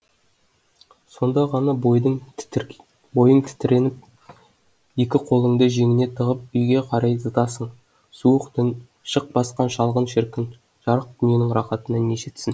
сонда ғана бойың тітіреніп екі қолыңды жеңіңе тығып үйге қарай зытасың суық түн шық басқан шалғын шіркін жарық дүниенің рақатына не жетсін